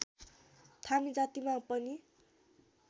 थामी जातिमा पनि